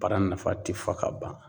Bara nafa te fɔ ka ban